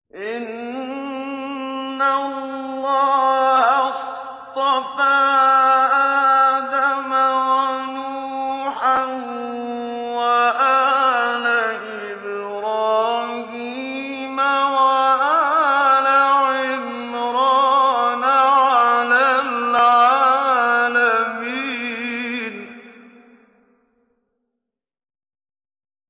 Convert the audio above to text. ۞ إِنَّ اللَّهَ اصْطَفَىٰ آدَمَ وَنُوحًا وَآلَ إِبْرَاهِيمَ وَآلَ عِمْرَانَ عَلَى الْعَالَمِينَ